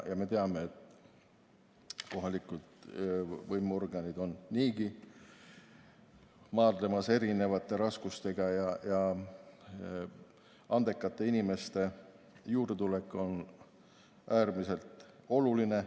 Me teame, et kohalikud võimuorganid on niigi maadlemas erinevate raskustega ja andekate inimeste juurdetulek on äärmiselt oluline.